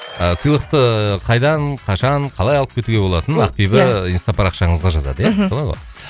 ыыы сыйлықты қайдан қашан қалай алып кетуге болатынын ақбибі инстапарақшаңызға жазады иә мхм солай ғой